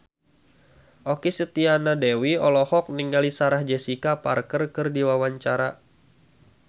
Okky Setiana Dewi olohok ningali Sarah Jessica Parker keur diwawancara